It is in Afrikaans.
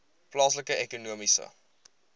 plaaslike ekonomiese